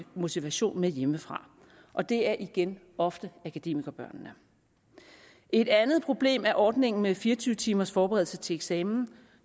motivation med hjemmefra og det er igen ofte akademikerbørnene et andet problem er ordningen med fire og tyve timers forberedelse til eksamen